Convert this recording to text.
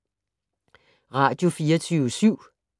Radio24syv